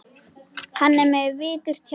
Hann er með viturt hjarta.